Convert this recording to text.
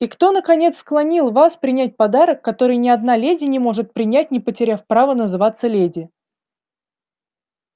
и кто наконец склонил вас принять подарок который ни одна леди не может принять не потеряв права называться леди